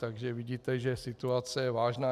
Takže vidíte, že situace je vážná.